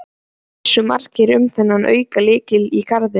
Vissu margir um þennan aukalykil í garðinum?